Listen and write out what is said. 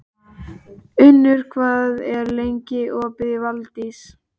Unnur, hvað er lengi opið í Valdís?